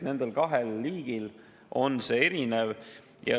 Nendel kahel liigil on see erinevus.